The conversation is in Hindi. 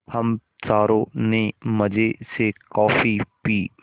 हम चारों ने मज़े से कॉफ़ी पी